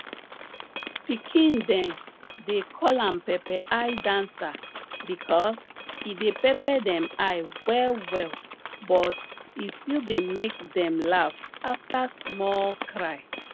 pikin dem dey call am pepper eye dancer because e dey pepper dem eye wellwell but e still dey make dem laugh after small cry